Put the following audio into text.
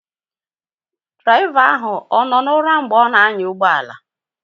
Draịva ahụ anọ na ụra mgbe ọ na anya ụgbọala?